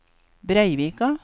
Breivika